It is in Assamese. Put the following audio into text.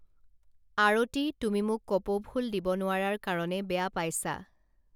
আৰতি তুমি মোক কপৌফুল দিব নোৱাৰাৰ কাৰণে বেয়া পাইছা